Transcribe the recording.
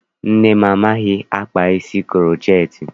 Nne m amaghị akpa isi kuroceti.